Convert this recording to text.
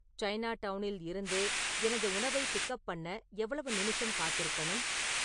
சைனாடவுனில் இருந்து எனது உணவைப் பிக் அப் பண்ண எவ்வளவு நிமிஷம் காத்திருக்கணும்